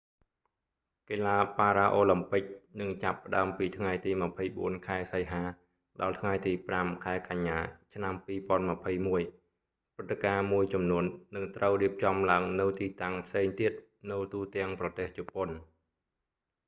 កីឡាបារ៉ាអូឡាំពិច នឹងចាប់ផ្ដើមពីថ្ងៃទី 24 ខែសីហា ដល់ថ្ងៃទី 5 ខែកញ្ញា ឆ្នាំ2021 ព្រឹត្តិការណ៍មួយចំនួន នឹងត្រូវរៀបចំឡើងនៅទីតាំងផ្សេងទៀត នៅទូទាំងប្រទេសជប៉ុន